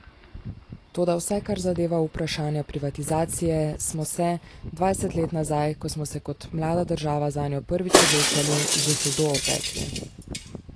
Toda vsaj kar zadeva vprašanja privatizacije smo se, dvajset let nazaj, ko smo se kot mlada država zanjo prvič odločali, že hudo opekli.